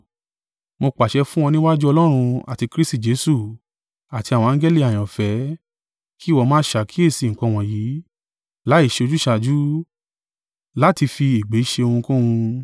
Mo pàṣẹ fún ọ níwájú Ọlọ́run, àti Kristi Jesu, àti àwọn angẹli àyànfẹ́ kí ìwọ máa ṣàkíyèsí nǹkan wọ̀nyí, láìṣe ojúsàájú, láti fi ègbè ṣe ohunkóhun.